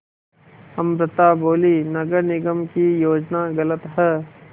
अमृता बोलीं नगर निगम की योजना गलत है